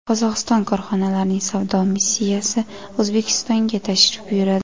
Qozog‘iston korxonalarining savdo missiyasi O‘zbekistonga tashrif buyuradi.